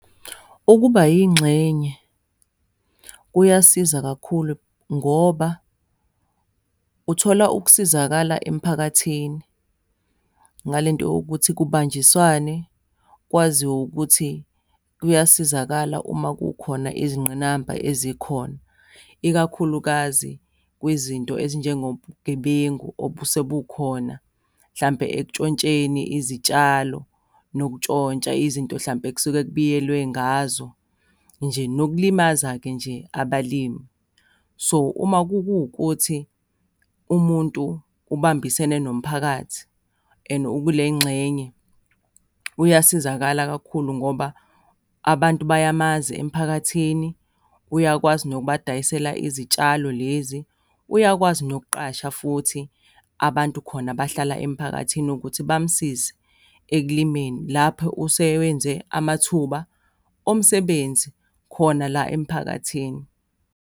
Ukuba yingxenye kuyasiza kakhulu ngoba uthola ukusizakala emphakathini ngale nto yokuthi kubanjiswane kwaziwa ukuthi kuyasizakala uma kukhona izingqinamba ezikhona, ikakhulukazi kwizinto ezinjengobugebengu obusebukhona, hlampe ekuntshontsheni izitshalo, nokuntshontsha izinto hlampe ekusuke kubuyelwe ngazo nje, nokulimaza-ke nje abalimi. So, uma kuwukuthi umuntu ubambisene nomphakathi, and ukule ngxenye, uyasizakala kakhulu ngoba abantu bayamazi emphakathini, uyakwazi nokubadayisela izitshalo lezi, uyakwazi nokuqasha futhi abantu khona abahlala emphakathini ukuthi bamsize ekulimeni lapho usewenze amathuba omsebenzi khona la emphakathini.